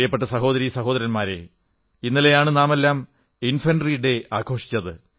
പ്രിയപ്പെട്ട സഹോദരീ സഹോദരന്മാരേ ഇന്നലെയാണ് നാമെല്ലാം ഇൻഫെൻട്രി ഡേ ആഘോഷിച്ചത്